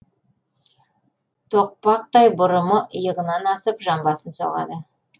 тоқпақтай бұрымы иығынан асып жамбасын соғады